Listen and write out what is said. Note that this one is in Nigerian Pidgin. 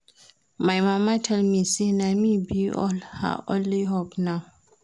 My mama tell me say na me be her only hope now